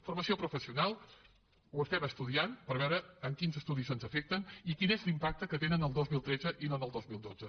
formació professional ho estem estudiant per veure en quins estudis ens afecten i quin és l’impacte que tenen el dos mil tretze i no el dos mil dotze